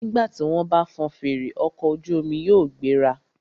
Nígbà tí wọ́n bá fọn fèrè, ọkọ̀ ojú omi yóò gbéra.